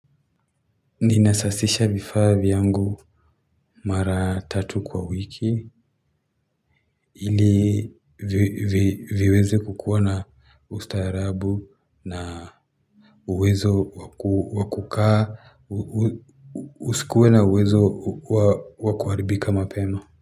Ninasasisha vifaa vyangu mara tatu kwa wiki ili viweze kukuwa na ustaarabu na uwezo wa kukaa usikuwe na uwezo wa kuharibika mapema.